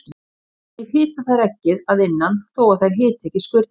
Þannig hita þær eggið að innan þó að þær hiti ekki skurnina.